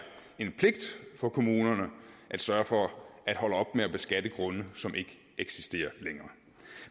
en pligt for kommunerne at sørge for at holde op med at beskatte grunde som ikke eksisterer længere